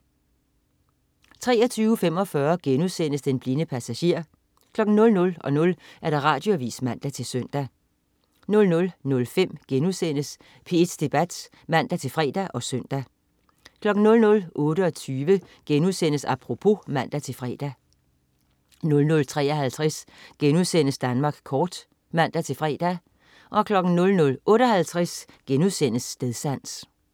23.45 Den blinde passager* 00.00 Radioavis (man-søn) 00.05 P1 Debat* (man-fre og søn) 00.28 Apropos* (man-fre) 00.53 Danmark kort* (man-fre) 00.58 Stedsans*